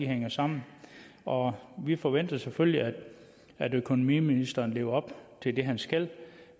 hænger sammen og vi forventer selvfølgelig at økonomiministeren lever op til det han skal